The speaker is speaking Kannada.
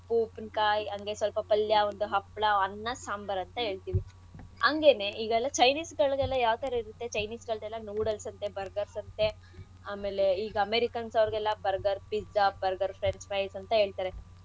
ಉಪ್ಪಿನಕಾಯಿ ಹಂಗೆ ಸ್ವಲ್ಪ ಪಲ್ಯ ಒಂದು ಹಪ್ಳ ಅನ್ನ ಸಾಂಬಾರ್ ಅಂತ ಹೇಳ್ತಿವಿ ಅಂಗೆನೇ ಈಗೆಲ್ಲ chinese ಗಳಲ್ಲೆಲ್ಲ ಯಾವ್ಥರಾ ಇರತ್ತೆ chinese ಗಳ್ದೆಲ್ಲೆ noodles ಅಂತೆ burgers ಅಂತೆ ಆಮೇಲೆ ಈಗ americans ಅವ್ರ್ಗೆಲ್ಲ burger pizza french fries. ಅಂತ ಹೇಳ್ತಾರೆ ಇದೆಲ್ಲ.